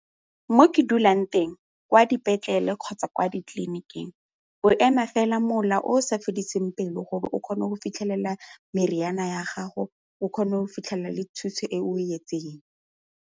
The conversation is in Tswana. Mo ke dulang teng, kwa dipetlele kgotsa kwa ditleliniking o ema fela mola o sa fediseng pelo gore o kgone go fitlhelela meriana ya gago o kgone go fitlhelela le thuso e o e etseng.